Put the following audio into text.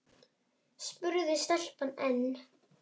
spurði stelpan enn.